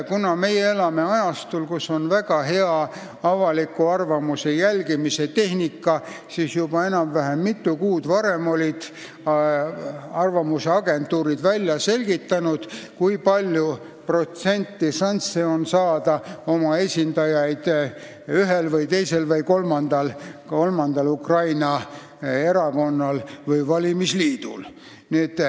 Kuna me elame ajastul, kus on väga hea avaliku arvamuse jälgimise tehnika, siis juba mitu kuud varem olid arvamusagentuurid välja selgitanud, kui suured šansid on saada oma esindajaid parlamenti ühel, teisel või kolmandal Ukraina erakonnal või valimisliidul.